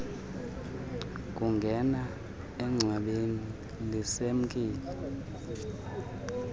kungena engcwabeni lisemkile